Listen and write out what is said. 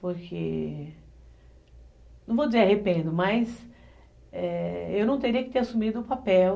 Porque, não vou dizer arrependo, é, mas eu não teria que ter assumido o papel